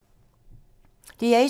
DR1